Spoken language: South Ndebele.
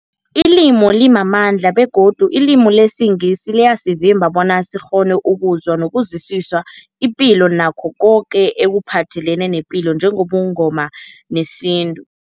Ilimi limamandla begodu ilimi lesiNgisi liyasivimba bona sikghone ukuzwa nokuzwisisa ipilo nakho koke ekuphathelene nepilo njengobuNgoma nesintu.